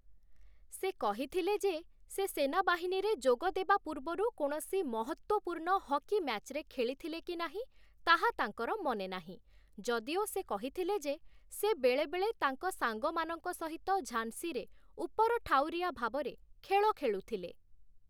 ସେ କହିଥିଲେ ଯେ, ସେ ସେନାବାହିନୀରେ ଯୋଗ ଦେବା ପୂର୍ବରୁ କୌଣସି ମହତ୍ତ୍ଵପୂର୍ଣ୍ଣ ହକି ମ୍ୟାଚ୍‌ରେ ଖେଳିଥିଲେ କି ନାହିଁ ତାହା ତାଙ୍କର ମନେ ନାହିଁ, ଯଦିଓ ସେ କହିଥିଲେ ଯେ, ସେ ବେଳେବେଳେ ତାଙ୍କ ସାଙ୍ଗମାନଙ୍କ ସହିତ ଝାନ୍ସିରେ ଉପରଠାଉରିଆ ଭାବରେ ଖେଳ ଖେଳୁଥିଲେ ।